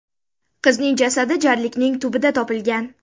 Qizning jasadi jarlikning tubida topilgan.